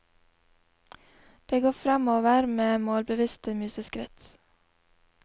Det går fremover med målbevisste museskritt.